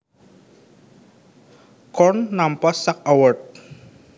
Korn nampa sak award